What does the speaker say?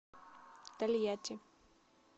тольятти